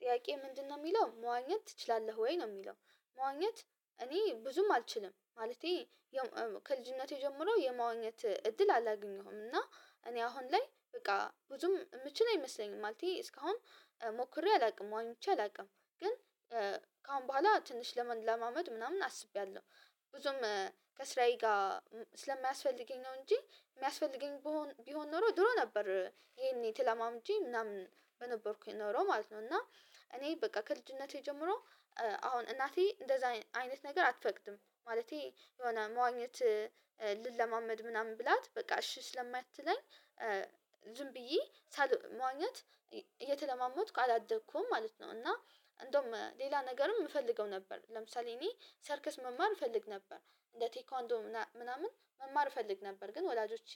ጥያቄ ምንድንነው የሚለው መዋኘት ትችላለህ ወይ ነው የሚለው? መዋኘት እኔ ብዙም አልችልም ማለቴ ያው ከልጅነቴ ጀምሮ የመዋኘት እድል አላገኘሁም። እና እኔ አሁን ላይ በቃ ብዙም የምችል አይመስለኝም ማለቴ እስካሁን ሞክሬ አላውቅም። ዋኝቼ አላውቅም ግን ከአሁን በኋላ ትንሽ ለመለማመድ ምናምን አስቤያለሁ። ብዙም ከስራዬ ጋር ስለማያስፈልገኝ ነው እንጂ የሚያስፈልገኝ ብቢሆን ኖሮ ድሮ ነበር ይሄኔ ተለማምጄ ምናምን በነበርኩኝ ኖሮ ማለት ነው። እና እኔ በቃ ከልጅነቴ ጀምሮ አሁን እናቴ እንደዛ አይነት ነገር አትፈቅድም ማለቴ የሆነ መዋኘት ልለማመድ ምናምን ብላት በቃ እሺ ስለማትለኝ ዝም ብዬ ሳል መዋኘት እየተለማመድኩ አላደኩም ማለት ነው። እና እንደውም ሌላ ነገርም የምፈልገው ነበር ለምሳሌ እኔ ሰርከስ መማር እፈልግ ነበር እንደ ቴኳንዶ ምናምን መማር እፈልግ ነበር ግን ወላጆቼ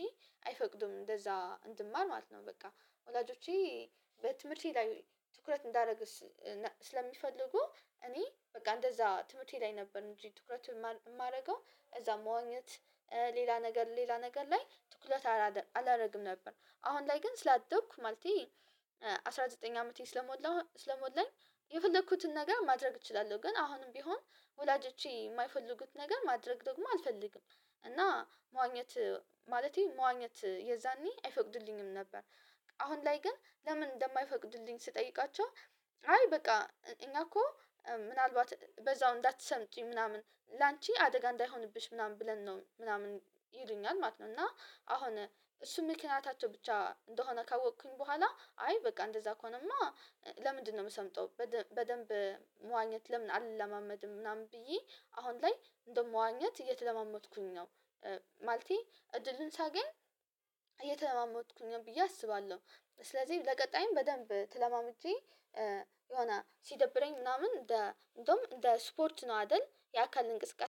አይፈቅዱም እንደዛ እንድማር ማለት ነው። በቃ ወላጆቼ በትምህርቴ ላይ ትኩረት እንዳደርግ ስለሚፈልጉ እኔ በቃ እንደዛ ትምህርቴ ላይ ነበር እንጂ ትኩረት የማደርገው እዛም መዋኘት ሌላ ነገር ሌላ ነገር ላይ ትኩረት አላደርግም ነበር። አሁን ላይ ግን ስላደኩ ማለቴ አስራ ዘጠኝ አመቴ ስለሞላ ስለሞላኝ የፈለኩትን ነገር ማድረግ እችላለሁ። ግን አሁንም ቢሆን ወላጆቼ የማይፈልጉት ነገር ማድረግ ደግሞ አልፈልግም እና መዋኘት ማለቴ መዋኘት የዛኔ አይፈቅዱልኝም ነበር። አሁን ላይ ግን ለምን እንደማይፈቅዱልኝ ስጠይቃቸው አይ በቃ እኛ እኮ ምናልባት በዛው እንዳትሰምጪ ምናምን ላንቺ አደጋ እንዳይሆንብሽ ምናምን ብለን ነው ምናምን ይሉኛል ማለት ነው። እና አሁን እሱ ምክንያታቸው ብቻ እንደሆነ ካወቅኩኝ በኋላ አይ በቃ እንደዛ ከሆነማ ለምንድንነው የምሰምጠው በደ በደንብ መዋኘት ለምን አልለማመድም ምናምን ብዬ አሁን ላይ እንደዉም መዋኘት እየተለማመድኩኝ ነው። ማለቴ እድልን ሳገኝ እየተለማመድኩኝ ነው ብዬ አስባለሁ። ስለዚህ ለቀጣይም በደንብ ተለማምጀ የሆነ ሲደብረኝ ምናምን እንደ እንደውም እንደ ስፖርት ነው አይደል የአካል እንቅስቃሴ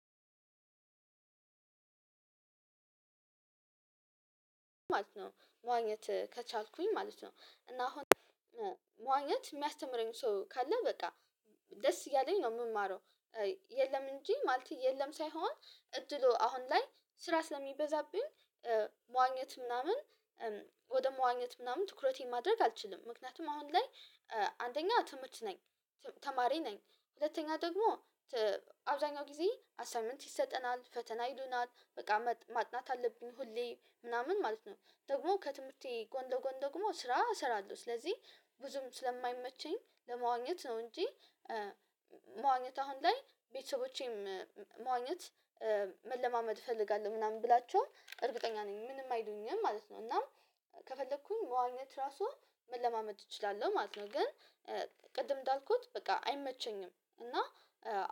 ማለት ነው። መዋኘት ከቻልኩኝ ማለት ነው እና አሁን መዋኘት የሚያስተምረኝ ሰው ካለ በቃ ደስ እያለኝ ነው የምማረው። የለም እንጂ ማለት የለም። ሳይሆን እድሉ አሁን ላይ ስራ ስለሚበዛብኝ መዋኘት ምናምን ወደ መዋኘት ምናምን ትኩረቴን ማድረግ አልችልም ምክንያቱም አሁን ላይ አንደኛ ትምህርት ነኝ ተማሪ ነኝ ሁለተኛ ደግሞ ት አብዛኛው ጊዜ አሳይመንት ይሰጠናል ፈተና ይሉናል በቃ ማጥናት አለብኝ ሁሌ ምናምን ማለት ነው ደግሞ ከትምህርቴ ጎን ለጎን ደግሞ ስራ እሰራለሁ። ስለዚህ ብዙም ስለማይመቸኝ ለመዋኘት ነው እንጂ መዋኘት አሁን ላይ ቤተሰቦቼም መዋኘት መለማመድ እፈልጋለሁ ምናምን ብላቸው እርግጠኛ ነኝ ምንም አይሉኝም ማለት ነው እና ከፈለኩኝ መዋኘት ራሱ መለማመድ እችላለሁ ማለት ነው። ግን ቅድም እንዳልኩት በቃ አይመቸኝም እና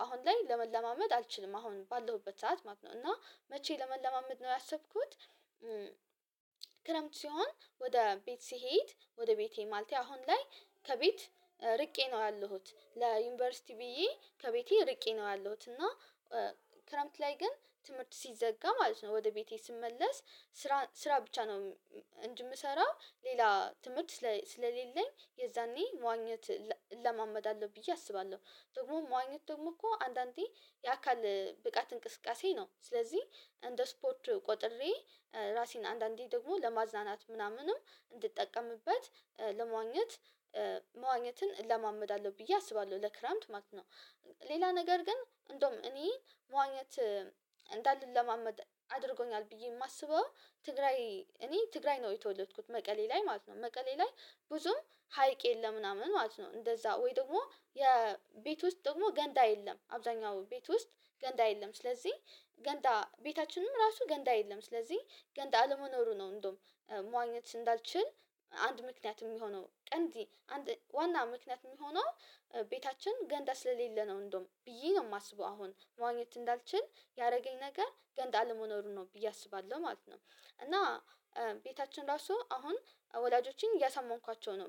አሁን ላይ ለመለማመድ አልችልም አሁን ባለሁበት ሰዓት ማለት ነው። እና መቼ ለመለማመድ ነው ያሰብኩት? ክረምት ሲሆን ወደ ቤት ስሄድ ወደ ቤቴ ማለት አሁን ላይ ከቤት ርቄ ነው ያለሁት ለዩኒቨርሲቲ ብዬ ከቤቴ ርቄ ነው ያለሁት እና ክረምት ላይ ግን ትምህርት ሲዘጋ ማለት ነው ወደ ቤቴ ስመለስ ስራ ስራ ብቻ ነው እንጅ የምሰራ ሌላ ትምህርት ስለ ስለሌለኝ የዛኔ መዋኘት እለ እለማመዳለሁ ብዬ አስባለሁ። ደግሞ መዋኘት ደግሞ እኮ አንዳንዴ የአካል ብቃት እንቅስቃሴ ነው ስለዚህ እንደ ስፖርት ቆጥሬ ራሴን አንዳንዴ ደግሞ ለማዝናናት ምናምንም እንድጠቀምበት ለመዋኘት መዋኘትን እለማመዳለሁ ብዬ አስባለሁ ለክረምት ማለት ነው። ሌላ ነገር ግን እንደውም እኔ መዋኘት እንዳልለማመድ አድርጎኛል ብዬ የማስበው ትግራይ እኔ ትግራይ ነው የተወለድኩት መቀሌ ላይ ማለት ነው መቀሌ ላይ ብዙም ሀይቅ የለም ምናምን ማለት ነው። እንደዛ ወይ ደግሞ የቤት ውስጥ ደግሞ ገንዳ የለም አብዛኛው ቤት ውስጥ ገንዳ የለም ስለዚህ ገንዳ ቤታችንም ራሱ ገንዳ የለም ስለዚህ ገንዳ አለመኖሩ ነው። እንደውም መዋኘት እንዳልችል አንድ ምክንያት የሚሆነው ቀንዲ አንድ ዋና ምክንያት የሚሆነው ቤታችን ገንዳ ስለሌለ ነው እንደውም ብዬ ነው የማስበው አሁን መዋኘት እንዳልችል ያደረገኝ ነገር ገንዳ አለመኖሩ ነው ብዬ አስባለሁ ማለት ነው። እና ቤታችን ራሱ አሁን ወላጆችን እያሳመንኳቸው ነው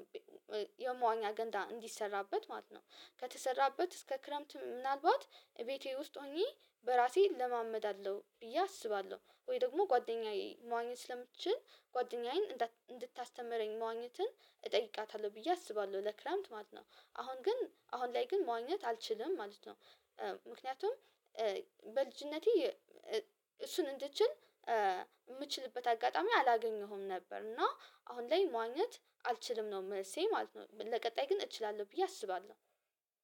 የመዋኛ ገንዳ እንዲሰራበት ማለት ነው። ከተሰራበት እስከ ክረምት ምናልባት ቤቴ ውስጥ ሆኜ በራሴ እለማመዳለሁ ብዬ አስባለሁ ወይ ደግሞ ጓደኛዬ መዋኘት ስለምችል ጓደኛዬን እንድታስተምረኝ መዋኘትን እጠይቃታለሁ ብዬ አስባለሁ። ለክረምት ማለት ነው አሁን ግን አሁን ላይ ግን መዋኘት አልችልም ማለት ነው። ምክንያቱም በልጅነቴ እሱን እንድችል የምችልበት አጋጣሚ አላገኘሁም ነበር እና አሁን ላይ መዋኘት አልችልም ነው መልሴ ማለት ነው። ለቀጣይ ግን እችላለሁ ብዬ አስባለሁ።